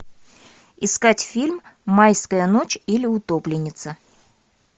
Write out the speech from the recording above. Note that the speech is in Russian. искать фильм майская ночь или утопленница